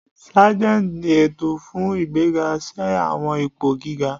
Sargeants ni ẹtọ fun igbega si awọn ipo giga.